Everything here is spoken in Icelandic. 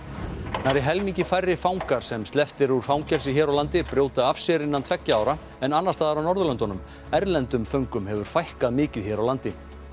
nærri helmingi færri fangar sem sleppt er úr fangelsi hér á landi brjóta af sér innan tveggja ára en annars staðar á Norðurlöndunum erlendum föngum hefur fækkað mikið hér á landi